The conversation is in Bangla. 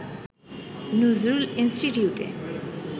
নজরুল ইনস্টিটিউটে